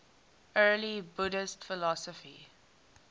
early buddhist philosophy